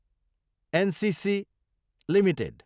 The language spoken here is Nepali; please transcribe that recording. NCC Ltd